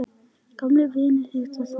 Gamlir vinir hittast á ný.